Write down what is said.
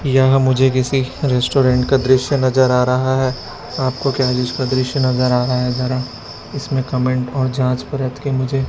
यहां मुझे किसी रेस्टोरेंट का दृश्य नजर आ रहा है आपको क्या जिसका दृश्य नजर आ रहा है जरा इसमें कमेंट और जांच परख के मुझे--